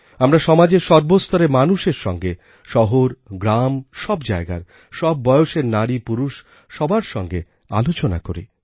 আমরা সমাজের সর্বস্তরের মানুষের সঙ্গে শহরগ্রাম সব জায়গার সব বয়সের নারীপুরুষ সবার সঙ্গে আলোচনা করি